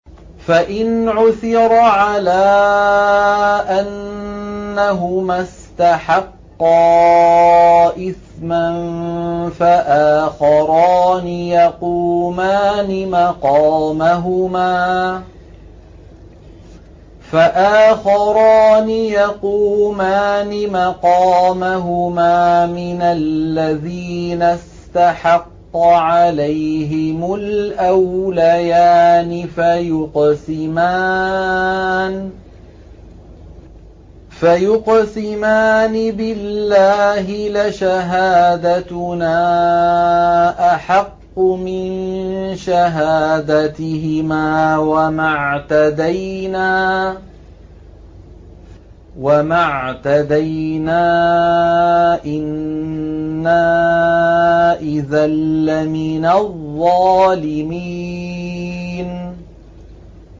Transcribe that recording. فَإِنْ عُثِرَ عَلَىٰ أَنَّهُمَا اسْتَحَقَّا إِثْمًا فَآخَرَانِ يَقُومَانِ مَقَامَهُمَا مِنَ الَّذِينَ اسْتَحَقَّ عَلَيْهِمُ الْأَوْلَيَانِ فَيُقْسِمَانِ بِاللَّهِ لَشَهَادَتُنَا أَحَقُّ مِن شَهَادَتِهِمَا وَمَا اعْتَدَيْنَا إِنَّا إِذًا لَّمِنَ الظَّالِمِينَ